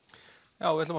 já við ætlum